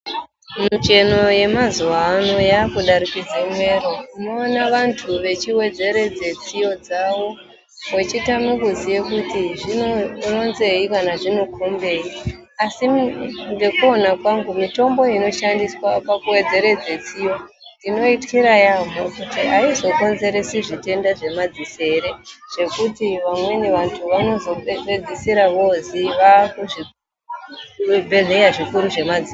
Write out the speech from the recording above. Micheno yemazuwano yaakudarikidza mwero, unoona wandu wechi wedzeredze tsiyo dzawo weitadzoziwa kuti zvinoronzei asi ngekuona kwangu mitombo inoshandiswa pakuwedzeredze tsiyo ndinoityira yeyamho kuti aizokonzeretsi zvitenda zvema dziso ere zvekuti wamweni wandu wanozopedzeredzwa wakunzi wawe kuzvibhedhleya zvikuru zvema ziso.